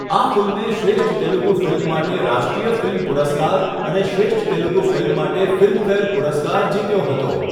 આ ફિલ્મે શ્રેષ્ઠ તેલુગુ ફિલ્મ માટે રાષ્ટ્રીય ફિલ્મ પુરસ્કાર અને શ્રેષ્ઠ તેલુગુ ફિલ્મ માટે ફિલ્મફેર પુરસ્કાર જીત્યો હતો.